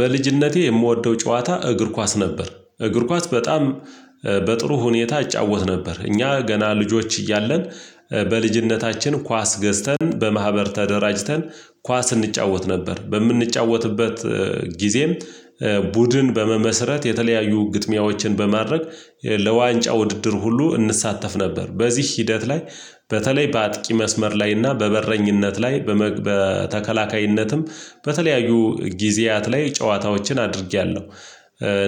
በልጅነቴ የምወደው ጨዋታ እግር ኳስ ነበር እግር ኳስ በጣም በጥሩ ሁኔታ እጫወት ነበር። እኛ ገና ልጆች እያለን። በልጅነታችን ኳስ ገዝተን በማህበር ተደራጅተን ኳስ እንጫወት ነበር። በምንጫወትበት ጊዜም ቡድን በመመስረት የተለያዩ ግጥሚያዎችን በማድረግ ለዋንጫ ውድድር ሁሉ እንሳተፍ ነበር። በዚህ ሂደት ላይ በተለይ በአጥቂ መስመር ላይና በበረኝነት ላይ በተከላካይነትም በተለያዩ ጊዜያት ላይ ጨዋታዎችን አድርጌያለሁ።